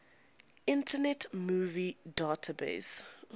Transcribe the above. internet movie database